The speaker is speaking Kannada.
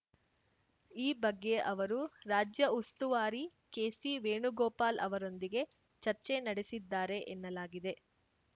ಈ ಬಗ್ಗೆ ಅವರು ರಾಜ್ಯ ಉಸ್ತುವಾರಿ ಕೆಸಿ ವೇಣುಗೋಪಾಲ್‌ ಅವರೊಂದಿಗೇ ಚರ್ಚೆ ನಡೆಸಿದ್ದಾರೆ ಎನ್ನಲಾಗಿದೆ